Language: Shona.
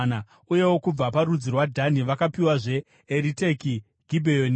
Uyewo kubva parudzi rwaDhani vakapiwazve Eriteke, Gibheoni,